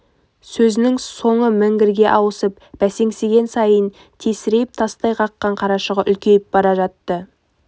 сөзінің соңы міңгірге ауысып бәсеңсіген сайын тесірейіп тастай қаққан қарашығы үлкейіп бара жатты